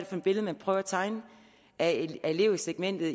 for et billede man prøver at tegne af elevsegmentet